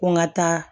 Ko n ka taa